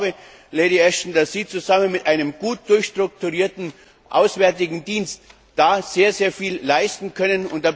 Ich glaube, Lady Ashton, dass Sie, zusammen mit einem gut durchstrukturierten Auswärtigen Dienst sehr viel leisten können.